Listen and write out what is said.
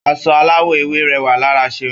Aṣọ aláwọ̀ ewé rẹwà lára Ṣeun.